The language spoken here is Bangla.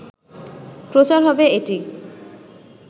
প্রচার হবে এটি